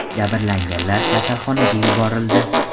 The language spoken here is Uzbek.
Jabrlanganlar kasalxonaga yuborildi.